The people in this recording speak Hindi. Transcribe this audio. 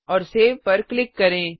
और सेव पर क्लिक करें